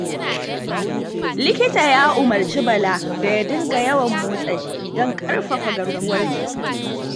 Likita ya umurce Bala da ya dinga yawan motsa jiki, don ƙarfafa garkuwar jiki.